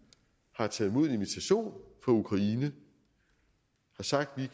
har taget imod invitationen fra ukraine og sagt at vi